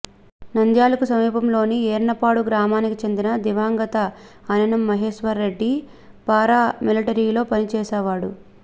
నంద్యాలకు సమీపంలోని ఈర్నపాడు గ్రామానికి చెందిన దివంగత అనె్నం మహేశ్వరరెడ్డి పారామిలిటరీలో పని చేసేవాడు